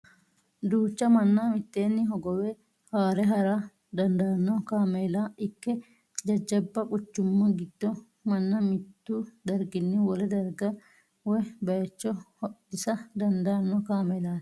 Duucha manna mitteenni hogowe haare hara daandaanno kaameela ikke jajjabba quchumma giddo manna mittu darginni wole darga woy baayicho hodhisa dandaanno kaamelaati.